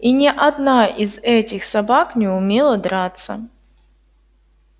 и ни одна из этих собак не умела драться